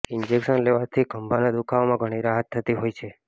injection લેવાથી ખભાના દુખાવામાં ઘણી રાહત થતી હોય છે